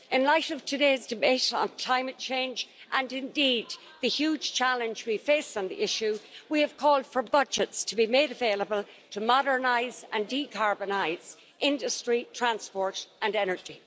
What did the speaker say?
In light of today's debate on climate change, and indeed the huge challenge we face on the issue, we have called for budgets to be made available to modernise and decarbonise industry, transport and energy.